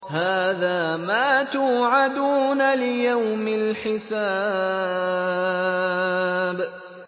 هَٰذَا مَا تُوعَدُونَ لِيَوْمِ الْحِسَابِ